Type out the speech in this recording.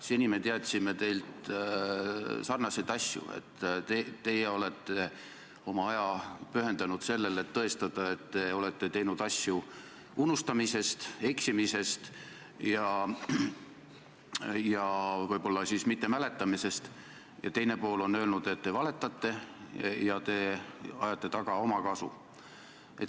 Seni me teadsime selliseid asju, et teie olete oma aja pühendanud sellele, et tõestada, et te olete teinud asju unustamise, eksimise ja võib-olla mittemäletamise tõttu, ning teine pool on öelnud, et te valetate ja ajate taga omakasu.